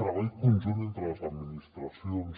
treball conjunt entre les administracions